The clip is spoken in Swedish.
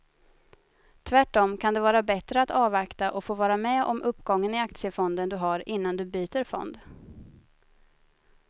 Tvärtom kan det vara bättre att avvakta och få vara med om uppgången i aktiefonden du har innan du byter fond.